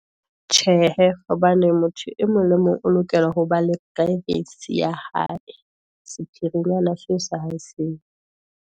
Tjhe hee, hobane motho e mong le e mong o lokela hoba le privacy ya hae, sephirinyana seo sa hae seo.